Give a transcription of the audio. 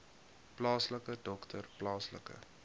plaaslike dokter plaaslike